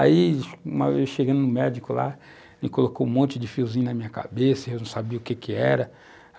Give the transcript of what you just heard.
Aí, uma vez, chegando no médico lá, ele colocou um monte de fiozinhos na minha cabeça, eu não sabia o que que era.